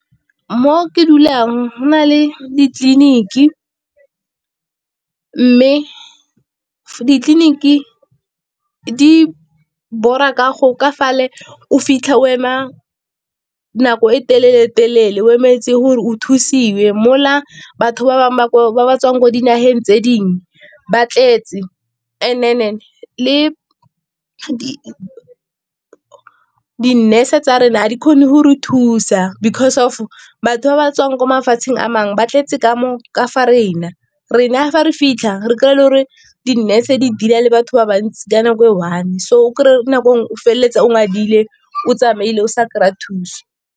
Mo ke dulang go na le ditleliniki, mme ditleliniki di ka go ka fale o fitlha o emang nako e telele telele o emetse gore o thusiwe. Mola batho ba bangwe ba ba ba tswang ko dinageng tse dingwe ba tletse le di nurse tsa rena ga di kgone go re thusa because of batho ba ba tswang ko mafatsheng a mangwe ba tletse ka mo ka fa rena, rena fa re fitlha re kry-e le gore di-nurse di dealer le batho ba bantsi ka nako e one. So o kry-e nako nngwe o feleletsa o ngadile o tsamaile o sa kry-a thuso.